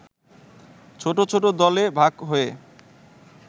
ছোট ছোট দলে ভাগ হয়ে